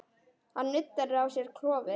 Hann nuddar á sér klofið.